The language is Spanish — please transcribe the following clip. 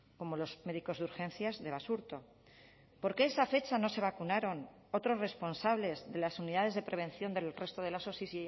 como los médicos de urgencias de basurto por qué esa fecha no se vacunaron otros responsables de las unidades de prevención del resto de las osi y